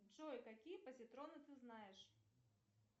джой какие позитроны ты знаешь